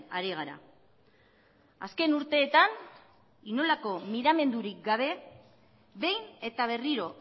ari gara azken urteetan inolako miramendurik gabe behin eta berriro